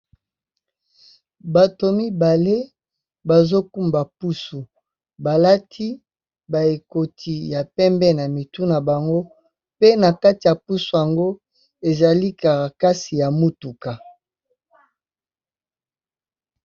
Bato mibale bazo kumba pusu ba lati ba ekoti ya pembe na mitu na bango, pe na kati ya pusu yango ezali carakas ya mutuka.